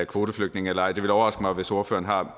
kvoteflygtninge eller ej det ville overraske mig hvis ordføreren har